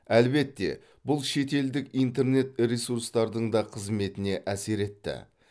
әлбетте бұл шетелдік интернет ресурстардың да қызметіне әсер етті